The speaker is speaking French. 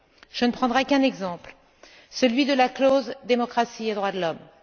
Je ne prendrai qu'un exemple, celui de la clause démocratie et droits de l'homme.